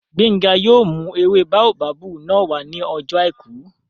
Gbénga yóò mú ewé báóbábù náà wá ní ọjọ́ àìkú